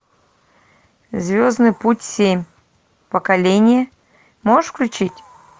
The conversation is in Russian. звездный путь семь поколение можешь включить